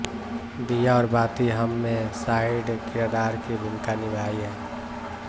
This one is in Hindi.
दीया और बाती हम में साइड किरदार की भूमिका निभाईहै